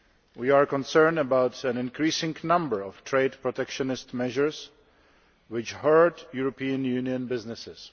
We are concerned about an increasing number of trade protectionist measures which hurt European Union businesses.